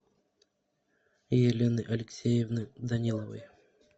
елены алексеевны даниловой